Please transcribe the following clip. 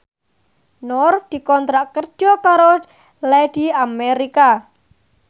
Nur dikontrak kerja karo Lady America